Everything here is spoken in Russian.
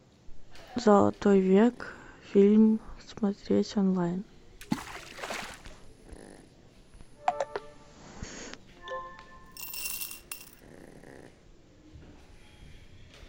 золотой век фильм смотреть онлайн